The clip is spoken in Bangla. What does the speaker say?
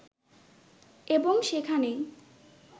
এবং সেখানেই